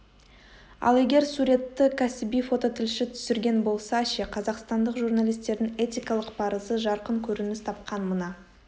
ал егер суретті кәсіби фототілші түсірген болса ше қазақстандық журналистердің этикалық парызы жарқын көрініс тапқан мына